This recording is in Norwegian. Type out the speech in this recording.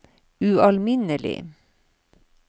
ualminnelig